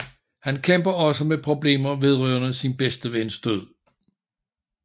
Han kæmper også med problemer vedrørende sin bedste vens død